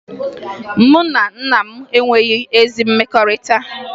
Mụ na nna m enweghi ezi mmekọrịta